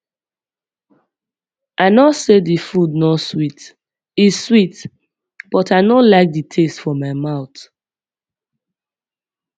i no say the food no sweet e sweet but i no like the taste for my mouth